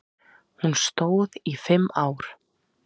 Hún stóð í fimm ár.